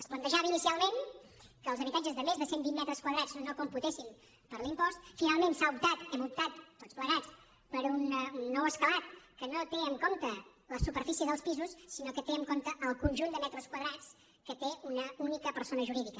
es plantejava inicialment que els habitatges de més de cent vint metres quadrats no computessin per a l’impost finalment s’ha optat hem optat tots plegats per un nou escalat que no té en compte la superfície dels pisos sinó que té en compte el conjunt de metres quadrats que té una única persona jurídica